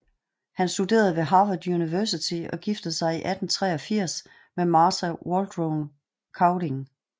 Han studerede ved Harvard University og giftede sig i 1883 med Martha Waldron Cowdin